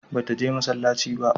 Ba ta je masallaci ba?